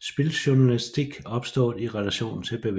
spiljournalistik opstået i relation til bevægelsen